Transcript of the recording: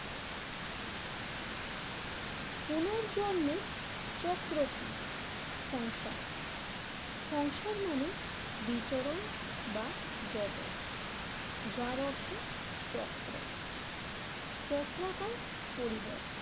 চক্র কি সংসার সংসার মানে বিচরণ বা জগত যার অর্থ চক্র। চক্রাকার পরিবর